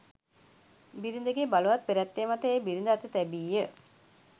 බිරිඳගේ බලවත් පෙරැත්තය මත එය බිරිඳ අත තැබිය.